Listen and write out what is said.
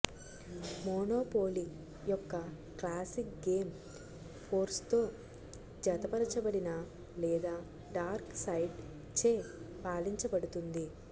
monopoly యొక్క classic game ఫోర్స్తో జతపరచబడినా లేదా డార్క్ సైడ్ చే పాలించబడుతుంది